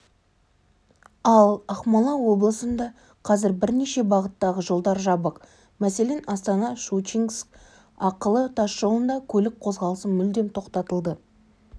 ал ақмола облысында қазір бірнеше бағыттағы жолдар жабық мәселен астана-щучинск ақылы тасжолында көлік қозғалысы мүлдем тоқтатылды